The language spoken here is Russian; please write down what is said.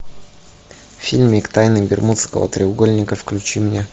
фильмик тайны бермудского треугольника включи мне